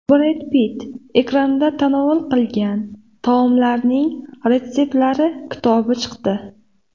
Bred Pitt ekranda tanovul qilgan taomlarning retseptlar kitobi chiqdi.